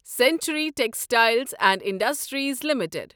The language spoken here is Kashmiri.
century Textiles and Industries limited